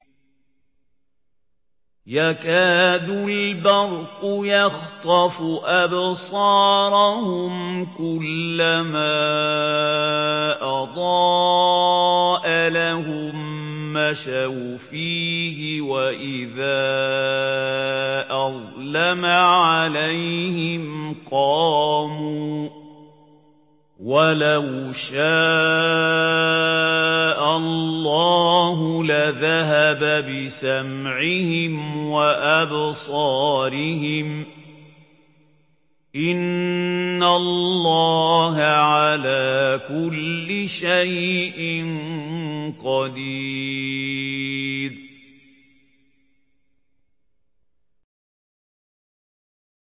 يَكَادُ الْبَرْقُ يَخْطَفُ أَبْصَارَهُمْ ۖ كُلَّمَا أَضَاءَ لَهُم مَّشَوْا فِيهِ وَإِذَا أَظْلَمَ عَلَيْهِمْ قَامُوا ۚ وَلَوْ شَاءَ اللَّهُ لَذَهَبَ بِسَمْعِهِمْ وَأَبْصَارِهِمْ ۚ إِنَّ اللَّهَ عَلَىٰ كُلِّ شَيْءٍ قَدِيرٌ